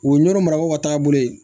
U ye nɔnɔ marakow ka taabolo ye